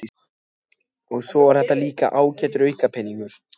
og svo er þetta líka ágætur aukapeningur.